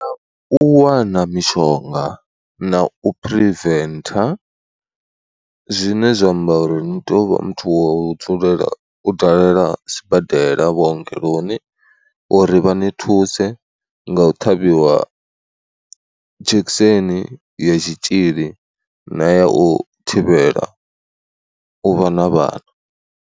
U wana mishonga na u phiriventha zwine zwa amba uri ni tea u vha muthu wa u dzulela u dalela sibadela vhuongeloni uri vha ni thuse nga u ṱhavhiwa dzhekiseni ya tshitzhili na ya u thivhela u vha na vhana.